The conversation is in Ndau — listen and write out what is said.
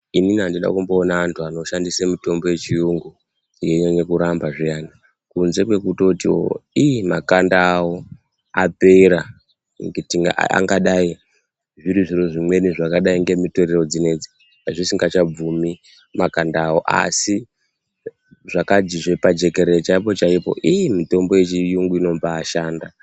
Inini andina kumboona antu anoshandisa mitombo yechiyungu yeinyanya kuramba zviyana kunze kwekutiwo iii makanda awo apera angadai zviri zviro zvakadai ngemitoriro dzinedzi zvisingachabvumi makanda awo asi zvakajizve pajekerere pemene mitombo yechiyungu ino mbashanda.